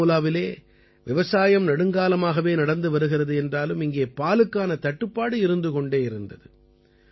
பாராமூலாவிலே விவசாயம் நெடுங்காலமாகவே நடந்து வருகிறது என்றாலும் இங்கே பாலுக்கான தட்டுப்பாடு இருந்து கொண்டே இருந்தது